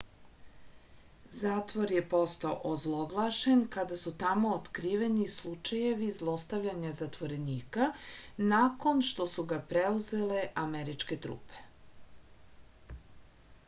zatvor je postao ozloglašen kada su tamo otkriveni slučejevi zlostavljanja zatvorenika nakon što su ga preuzele američke trupe